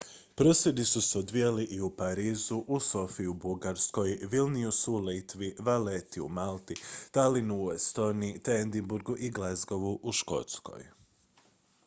prosvjedi su se odvijali i u parizu u sofiji u bugarskoj vilniusu u litvi valletti u malti tallinnu u estoniji te edinburghu i glasgowu u škotskoj